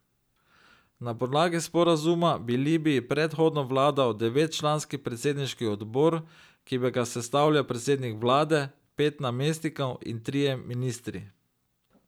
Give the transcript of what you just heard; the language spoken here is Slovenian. Na podlagi sporazuma bi Libiji prehodno vladal devetčlanski predsedniški odbor, ki bi ga sestavljal predsednik vlade, pet namestnikov in trije ministri.